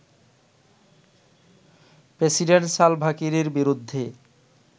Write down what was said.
president Salva কিরের বিরুদ্ধে